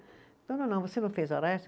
Não, não, não, você não fez hora extra?